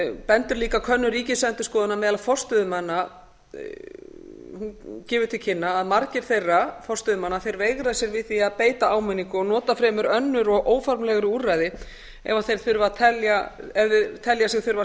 bendir líka könnun ríkisendurskoðunar á að meðal forstöðumanna hún gefur til kynna að margir þeirra forstöðumanna veigri sér við að beita áminningu og nota fremur önnur og óformlegri úrræði ef þeir telja sig þurfa að segja